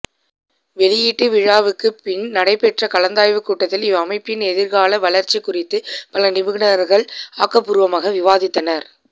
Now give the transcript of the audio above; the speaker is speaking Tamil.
வெளியீட்டு விழாவுக்குப் பின் நடைபெற்ற கலந்தாய்வுக் கூட்டத்தில் இவ்வமைப்பின் எதிர்கால வளர்ச்சி குறித்து பல நிபுணர்கள் ஆக்கப்பூர்வமாக விவாதித்தனர்